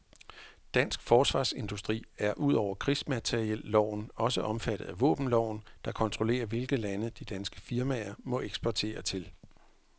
Dansk forsvarsindustri er udover krigsmaterielloven også omfattet af våbenloven, der kontrollerer, hvilke lande de danske firmaer må eksportere til.